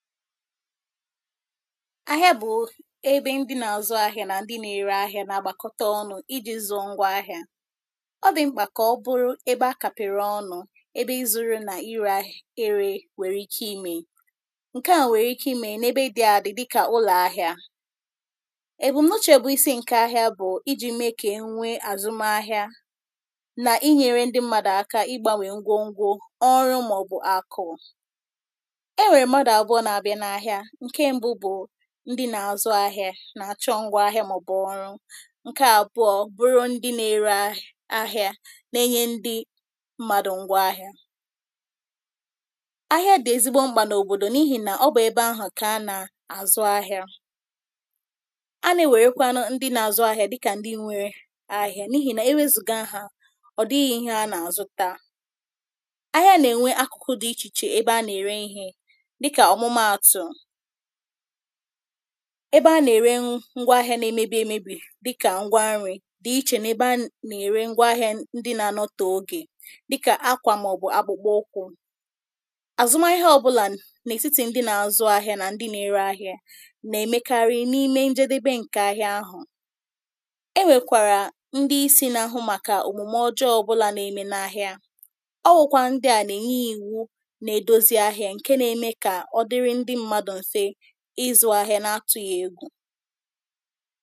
ahịa bụ ebe ndị na-azụ ahịa na ndị na-ere ahịa na-agbakọta ọnụ̇ iji nzọ ngwa ahịa ọ dị mkpa ka ọ bụrụ ebe a kapere ọnụ̇ ebe izu ree na ire ere nwere ike ime nkè a nwere ike ime n’ebe ị dị adị dịka ụlọ ahịa e bụ mnuchė bụ isi nke ahịa bụ iji mee ka e nwe azụmahịa na inyere ndị mmadụ aka ịgbanwe ngwo ngwo ọrụ maọbụ akụụ ndị nà-àzụ ahịȧ nà-àchọ ngwá ahịa màọbụ̀ ọrụ nkè àbụọ bụrụ ndị nà-ere ahịȧ na-enye ndị mmadụ̇ ngwá ahịa ahịa dị̀ ezigbo mkpà n’òbòdò n’ihì nà ọ bụ̀ ebe ahụ̀ kà a nà-àzụ ahịȧ a na-ewerekwa nụ ndị nà-azụ ahịȧ dịkà ndị nwere ahịa n’ihì nà ewezùga ahà ọ̀ dịghị̇ ihė a nà-àzụta ebe a na-ere ngwa ahịa na-emebi emebi dịka ngwa nri dị iche n’ebe a na-ere ngwa ahịa ndị na-anọtà ogè dịkà akwa maọbụ akwụkwụ azụma ihe ọ bụla n’etiti ndị na-azụ ahịa nà ndị na-ere ahịa na-emekarị n’ime njedebe nke ahịa ahụ e nwekwara ndị isi na-ahụ maka omume ọjọọ ọbụla na-eme n’ahịa ọ wụkwa ndị a na-enye iwu na-edozi ahịa nke na-eme ka izu ahịa na-atụghị egwu